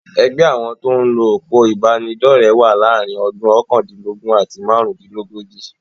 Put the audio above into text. Ẹgbẹ́ àwọn tí o ń lo òpó ìbánidọ́rẹ̀ wà láàárín ọdún okandinlogun àti máàrún-dín-lógójì.